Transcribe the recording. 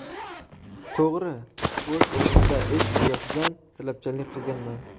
To‘g‘ri, o‘z o‘rnida ish yuzasidan talabchanlik qilganman.